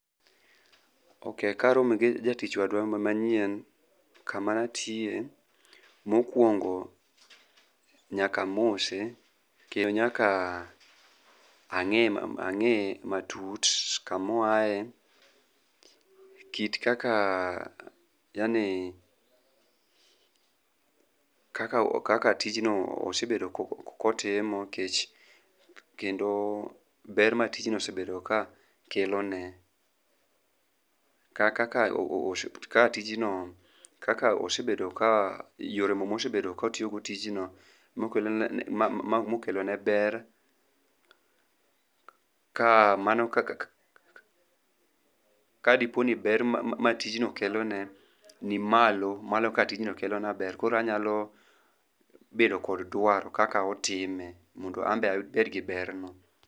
okay, karomo gi jatich wadwa manyien kamatiye mokuongo nyakamose, kendo nyaka ang'ee matut, kama oae kit kaka yani kaka tij no osebedo kotimo ,kendo ber matijno osebedo ka kelone, yore go mosebedo kotiyo go tijno mokelo ne ber, kamano kadipo ni ber ma tijno kelone ni malo molo kaka tijno kelo na ber koro anyalo bedo kod dwaro kaka otime mondo anbe abed gi berno